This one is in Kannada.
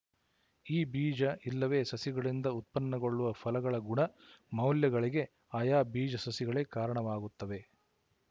ಈ ಬೀಜ ಇಲ್ಲವೇ ಸಸಿಗಳಿಂದ ಉತ್ಪನ್ನಗೊಳ್ಳುವ ಫಲಗಳ ಗುಣ ಮೌಲ್ಯಗಳಿಗೆ ಆಯಾ ಬೀಜಸಸಿಗಳೇ ಕಾರಣವಾಗುತ್ತವೆ